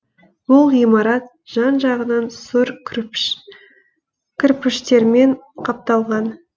бұл ғимарат жан жағынан сұр кірпіштермен қапталған